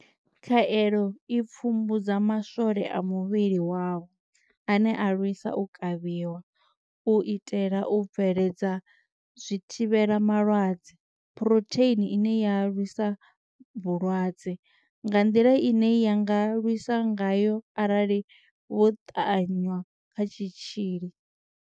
Khaelo i pfumbudza maswole a muvhili wavho ane a lwisa u kavhiwa, u itela u bveledza zwithivhela malwadze phurotheini ine ya lwisa vhulwadze nga nḓila ine ya nga lwisa ngayo arali vho ṱanwa kha tshitzhili.